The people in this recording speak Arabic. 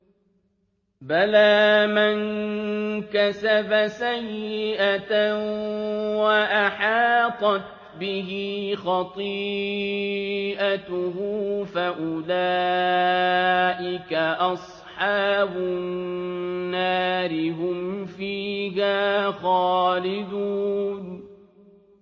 بَلَىٰ مَن كَسَبَ سَيِّئَةً وَأَحَاطَتْ بِهِ خَطِيئَتُهُ فَأُولَٰئِكَ أَصْحَابُ النَّارِ ۖ هُمْ فِيهَا خَالِدُونَ